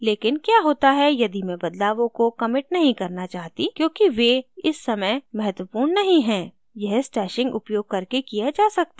लेकिन क्या होता है यदि मैं बदलावों को commit नहीं करना चाहती क्योंकि वे इस समय महत्वपूर्ण नहीं हैं यह stashing उपयोग करके किया जा सकता है